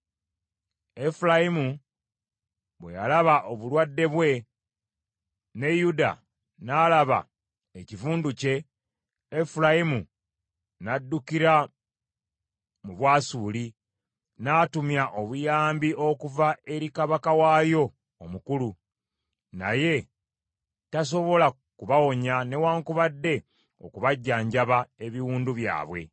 “Efulayimu bwe yalaba obulwadde bwe, ne Yuda n’alaba ekivundu kye, Efulayimu n’addukira mu Bwasuli, n’atumya obuyambi okuva eri kabaka waayo omukulu. Naye tasobola kubawonya newaakubadde okubajjanjaba ebiwundu byabwe.